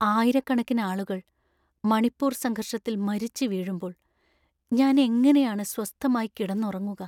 ആയിരക്കണക്കിന് ആളുകൾ മണിപ്പൂർ സംഘർഷത്തിൽ മരിച്ച് വീഴുമ്പോൾ ഞാനെങ്ങനെയാണ് സ്വസ്ഥമായി കിടന്നുറങ്ങുക?